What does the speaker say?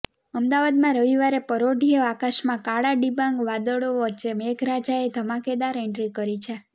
અમદાવાદમાં રવિવારે પરોઢિયે આકાશમાં કાળાડિબાંગ વાદળો વચ્ચે મેઘરાજાએ ધમાકેદાર એન્ટ્રી કરી છે